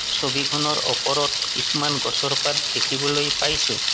ছবিখনৰ ওপৰত কিছুমান গছৰ পাত দেখিবলৈ পাইছোঁ।